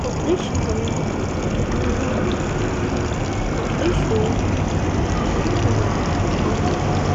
hodhishshaho yaa mayyaate? hodhishshu maye horo aannonke?